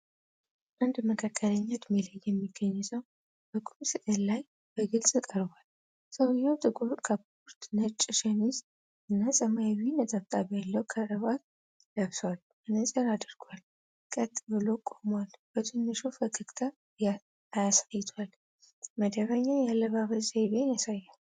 አንድ መካከለኛ እድሜ ላይ የሚገኝ ሰው በቁም ስዕል ላይ በግልጽ ቀርቧል። ሰውየው ጥቁር ካፖርት፣ ነጭ ሸሚዝ እና ሰማያዊ ነጠብጣብ ያለው ክራባት ለብሷል። መነጽር አድርጓል፤ ቀጥ ብሎ ቆሟል፤ በትንሹ ፈገግታ አሳይቷል። መደበኛ የአለባበስ ዘይቤን ያሳያል።